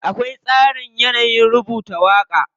Akwai tsarin yanayin rubuta waƙa.